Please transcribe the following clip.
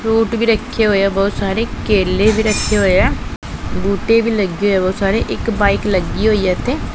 fruit ਵੀ ਰੱਖੇ ਹੋਏ ਆ ਬਹੁਤ ਸਾਰੇ ਕੇਲੇ ਵੀ ਰੱਖੇ ਹੋਏ ਆ ਬੂਟੇ ਵੀ ਲੱਗੇ ਹੋਏ ਆ ਬਹੁਤ ਸਾਰੇ ਇੱਕ ਬਾਈਕ ਲੱਗੀ ਹੋਈ ਐ ਇਥੇ--